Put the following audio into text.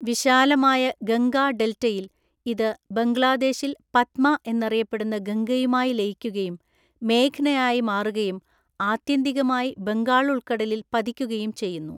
വിശാലമായ ഗംഗാ ഡെൽറ്റയിൽ ഇത് ബംഗ്ലാദേശിൽ പദ്മ എന്നറിയപ്പെടുന്ന ഗംഗയുമായി ലയിക്കുകയും മേഘ്നയായി മാറുകയും ആത്യന്തികമായി ബംഗാൾ ഉൾക്കടലിൽ പതിക്കുകയും ചെയ്യുന്നു.